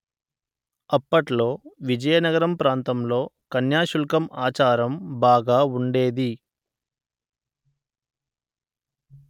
అప్పట్లో విజయనగరం ప్రాంతంలో కన్యాశుల్కం ఆచారం బాగా ఉండేది